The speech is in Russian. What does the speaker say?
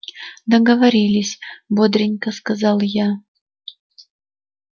договорились бодренько сказал я